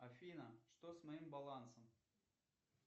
афина что с моим балансом